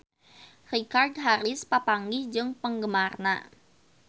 Richard Harris papanggih jeung penggemarna